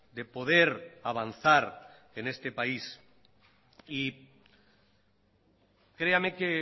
de poder avanzar en este país y créame que